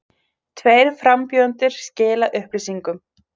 Tveir frambjóðendur skila upplýsingum